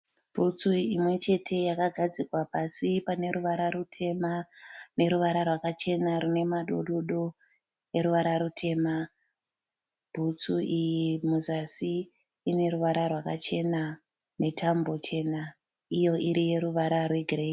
Bhutsu imwe chete yakagadzikwa pasi. Pane ruvara rutema neruvara rwaka chena rine madododo neruvara rutema. Bhutsu iyi muzasi ine ruvara rwakachena netambo chena iyo iri yeruvara rwe gireyi.